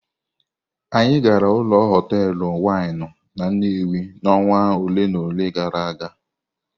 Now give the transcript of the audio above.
Anyị gara ụlọ hotelụ winụ n'Nnewi n'ọnwa ole na ole gara aga.